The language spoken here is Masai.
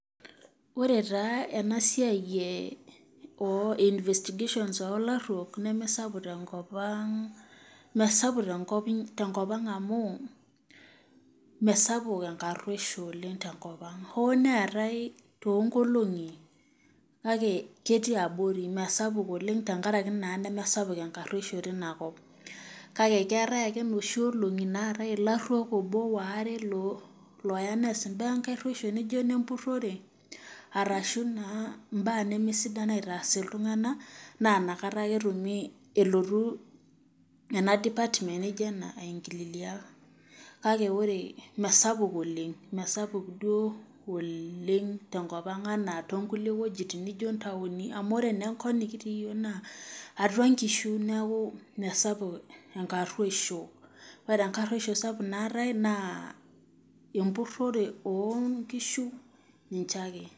Ore taa enasiai o investigation olaruok nemesapuk tenkop aang tenkop inyi amu mesapuk enkaruoshio tenkop aang, oo neatae tonkolongi kake ketii abori oleng mesaj naa nemesapuk enkaruoisho tinakop, kake keeta ake noshi olongi naatae laruok moobo waare loya neas mbaa enkaruoisho arashu naa mbaa namaasidan aitaas ltunganak na nakata ake elotu ena department nijo ena aingia kakemesapul oleng mesapukduo oleng tenkopang anaa nkulie kwapi nijo ntauni amu atua nkishu neaku mesapuk enkaruoisho ,ore enkaruoshio sapuk naatae na empurore onkishu ninye ake